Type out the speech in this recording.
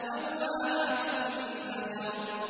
لَوَّاحَةٌ لِّلْبَشَرِ